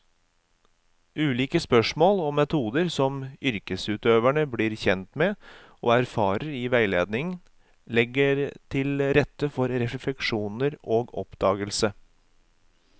Ulike spørsmål og metoder som yrkesutøverne blir kjent med og erfarer i veiledning, legger til rette for refleksjon og oppdagelse.